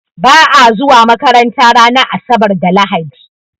Ba'a zuwa makaranta ranar asabar da lahadi